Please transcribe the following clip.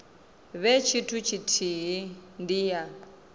vhe tshithu tshithihi ndi ya